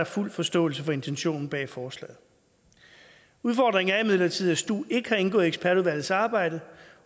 fuld forståelse for intentionen bag forslaget udfordringen er imidlertid at stu ikke har indgået i ekspertudvalgets arbejde